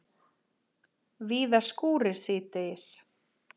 Víða skúrir síðdegis